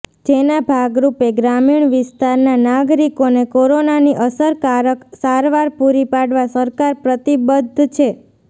જેના ભાગરૂપે ગ્રામીણ વિસ્તારના નાગરિકોને કોરોનાની અસરકારક સારવાર પૂરી પાડવા સરકાર પ્રતિબદ્ધ છે